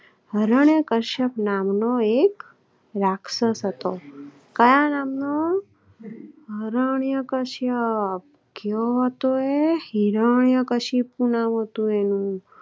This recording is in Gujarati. હરિયાણા કશ્યપ નામનો એક રાક્ષસ હતો. કાયા નામ નો અરણીય કશ્યા આપ ક્યોતો હિરણ્યકશિપુ નામ હતું એનું